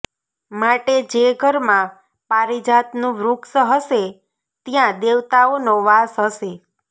માટે જે ઘરમાં પારીજાતનું વૃક્ષ હશે ત્યાં દેવતાઓનો વાસ હશે